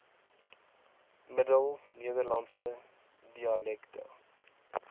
middel nederlandse dialekte